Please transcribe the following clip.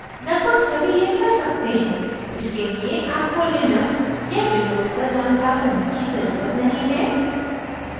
लगभग सभी यह कर सकते हैं इसके लिए आपको linux या windows का जानकर होने की ज़रुरत नहीं है